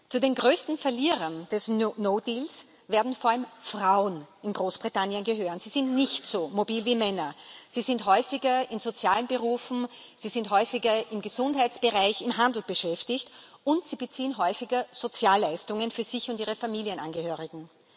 Zu den größten Verlierern des no deal werden vor allem Frauen in Großbritannien gehören. Sie sind nicht so mobil wie Männer, sie sind häufiger in sozialen Berufen, sie sind häufiger im Gesundheitsbereich, im Handel beschäftigt, und sie beziehen häufiger Sozialleistungen für sich und ihre Familienangehörigen.